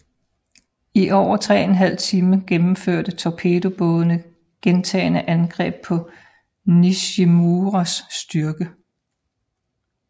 I over 3½ time gennemførte torpedobådene gentagne angreb på Nishimuras styrke